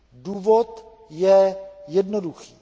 Důvod je jednoduchý.